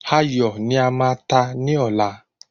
Ayò ní a máa ta ní ọ̀la